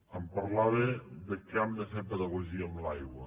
em parlava que hem de fer pedagogia amb l’aigua